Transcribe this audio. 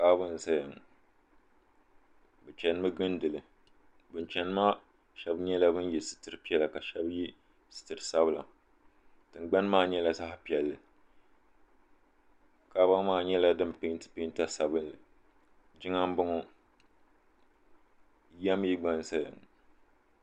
Kaaba n zaya ŋɔ bɛ chenimi n gindili bin cheni maa sheba yela sitiri piɛla ka sheba ye sitiri sabila tingbani maa nyɛla zaɣa piɛlli kaaba maa nyɛla din penti penta sabinli jiŋa m boŋɔ9ya mee gba n zaya ŋɔ.